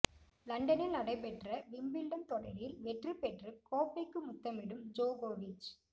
லண்டனில் நடைபெற்ற விம்பிள்டன் தொடரில் வெற்றி பெற்று கோப்பைக்கு முத்தமிடும் ஜோகோவிச்